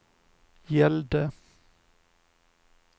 gällde